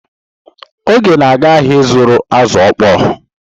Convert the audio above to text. Oge na-aga ahịa ịzụrụ azụ̀ okpoo.